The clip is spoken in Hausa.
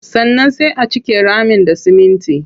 Sannan sai a cike ramin da siminti.